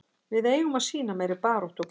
Við eigum að sýna meiri baráttu og gleði.